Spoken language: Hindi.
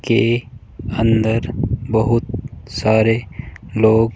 के अंदर बहुत सारे लोग--